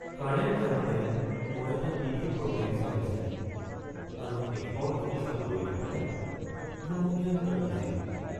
Current যাওঁতে মই এটা টিভি প্ৰগ্ৰেম চাই আছিলো আৰু শেষৰখিনি চাবলৈ নাপাই হুমুনিয়াহ কাঢ়িছিলোঁ।